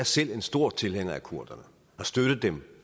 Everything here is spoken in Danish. selv en stor tilhænger af kurderne har støttet dem